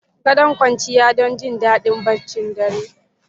Gadon kwanciya don jin daɗin barcin dare.